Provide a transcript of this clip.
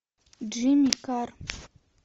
джимми карр